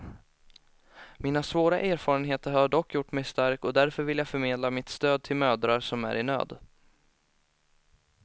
Mina svåra erfarenheter har dock gjort mig stark och därför vill jag förmedla mitt stöd till mödrar som är i nöd.